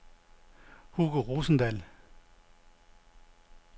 Hugo Rosendahl